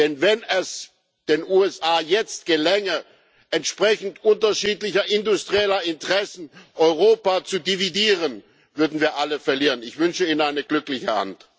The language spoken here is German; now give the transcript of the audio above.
Denn wenn es den USA jetzt gelänge, entsprechend unterschiedlicher industrieller Interessen Europa auseinanderzudividieren, würden wir alle verlieren. Ich wünsche ihnen eine glückliche Hand.